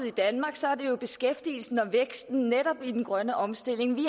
i danmark så er det jo beskæftigelsen og væksten netop i den grønne omstilling vi